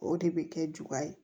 O de bɛ kɛ juguya ye